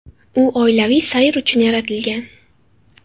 U oilaviy sayr uchun yaratilgan.